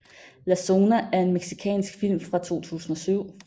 La Zona er en mexicansk film fra 2007